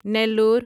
Nellore